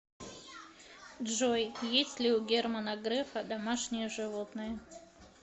джой есть ли у германа грефа домашние животные